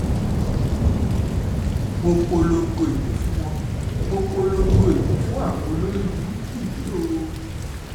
mo polongo ìbò fún wọn mo polongo polongo ìbò fún àwọn olórìbùrùkù yìí o